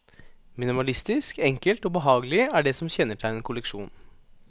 Minimalistisk, enkelt og behagelig er det som kjennetegner kolleksjonen.